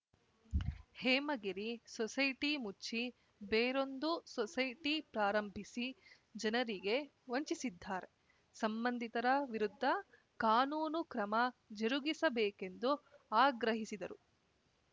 Hemagiri society ಮುಚ್ಚಿ ಬೇರೊಂದು society ಪ್ರಾರಂಭಿಸಿ ಜನರಿಗೆ ವಂಚಿಸಿದ್ದಾರೆ ಸಂಬಂಧಿತರ ವಿರುದ್ಧ ಕಾನೂನು ಕ್ರಮ ಜರುಗಿಸಬೇಕೆಂದು ಆಗ್ರಹಿಸಿದರು